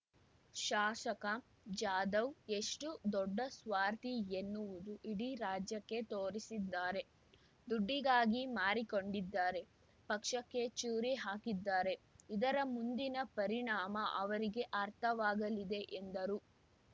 ಶಾಸಕ ಜಾಧವ್ ಎಷ್ಟು ದೊಡ್ಡ ಸ್ವಾರ್ಥಿ ಎನ್ನುವುದು ಇಡೀ ರಾಜ್ಯಕ್ಕೆ ತೋರಿಸಿದ್ದಾರೆ ದುಡ್ಡಿಗಾಗಿ ಮಾರಿಕೊಂಡಿದ್ದಾರೆ ಪಕ್ಷಕ್ಕೆ ಚೂರಿ ಹಾಕಿದ್ದಾರೆ ಇದರ ಮುಂದಿನ ಪರಿಣಾಮ ಅವರಿಗೆ ಅರ್ಥವಾಗಲಿದೆ ಎಂದರು